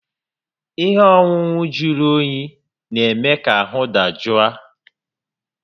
Ihe ọṅụṅụ jụrụ oyi n'eme ka ahụ dajụ a